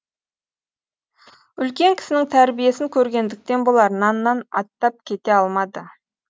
үлкен кісінің тәрбиесін көргендіктен болар наннан аттап кете алмады